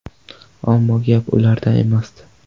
Ammo gap ularda emasdi.